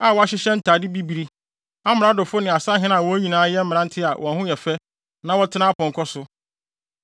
a wɔhyehyɛ ntade bibiri, amradofo ne asahene a wɔn nyinaa yɛ mmerante a wɔn ho yɛ fɛ na wɔtena apɔnkɔ so.